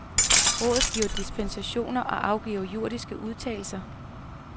Rådet giver dispensationer og afgiver juridiske udtalelser.